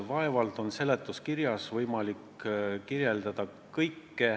Vaevalt on seletuskirjas võimalik kõike selgitada.